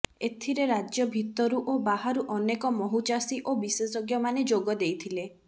ଏଥିରେ ରାଜ୍ୟ ଭିତରୁ ଓ ବାହାରୁ ଅନେକ ମହୁଚାଷୀ ଓ ବିଶେଷଜ୍ଞମାନେ ଯୋଗ ଦେଇଥିଲେ